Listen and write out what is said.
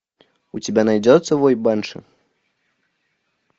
у тебя найдется вой банши